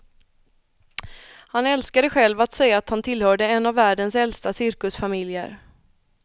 Han älskade själv att säga att han tillhörde en av världens äldsta cirkusfamiljer.